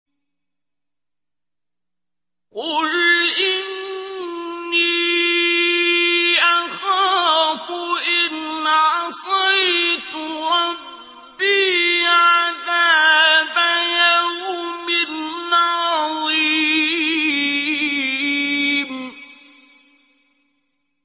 قُلْ إِنِّي أَخَافُ إِنْ عَصَيْتُ رَبِّي عَذَابَ يَوْمٍ عَظِيمٍ